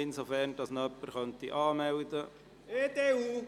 Kann jemand Grossrat Kullmann für die Rednerliste anmelden?